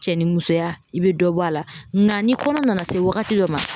Cɛnimusoya i be dɔ bɔ a la nka ni kɔnɔ nana se wagati dɔ ma.